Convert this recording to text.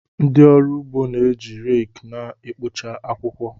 Ndị ọrụ ugbo na-eji rake na-ekpocha akwụkwọ.